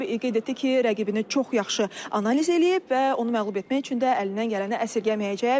Qeyd etdi ki, rəqibini çox yaxşı analiz eləyib və onu məğlub etmək üçün də əlindən gələni əsirgəməyəcək.